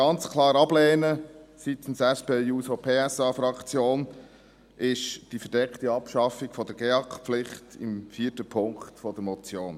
Was wir aber seitens der SP-JUSO-PSA-Fraktion ganz klar ablehnen, ist die verdeckte Abschaffung der GEAK-Pflicht im vierten Punkt der Motion.